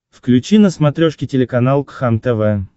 включи на смотрешке телеканал кхлм тв